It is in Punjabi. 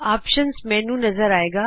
ਆਪਸ਼ਨਜ਼ ਮੈਨਯੂ ਨਜ਼ਰ ਆਏਗਾ